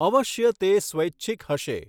અવશ્ય તે સ્વૈછિક હશે.